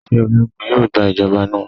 Ṣe ologun yoo gba ijọba naa?